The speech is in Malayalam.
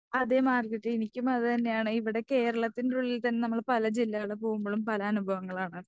അതേ മാർഗരറ്റ് എനിക്കും അത് തന്നെയാണ് ഇവിടെ കേരളത്തിന്റെ ഉള്ളിൽത്തന്നെ നമ്മള് പല ജില്ലകൾ പോകുമ്പളും പല അനുഭവങ്ങളാണ്.